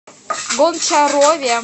гончарове